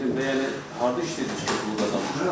Bildim də yəni harda işlədiz ki, pul qazandınız?